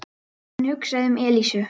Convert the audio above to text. Hann hugsaði um Elísu.